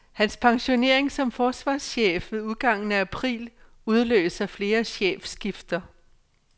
Hans pensionering som forsvarschef ved udgangen af april udløser flere chefskifter.